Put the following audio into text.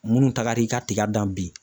Munnu tagar'i ka ka tiga dan bi.